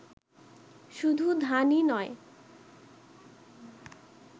শুধু ধানই নই